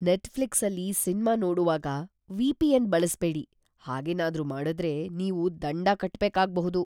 ನೆಟ್‌ಫ್ಲಿಕ್ಸಲ್ಲಿ cinema ನೋಡೋವಾಗ VPN. ಬಳಸ್ಬೇಡಿ. ಹಾಗೇನಾದ್ರೂ ಮಾಡುದ್ರೆ ನೀವು ದಂಡ ಕಟ್ಬೇಕಾಗ್ಬಹುದು.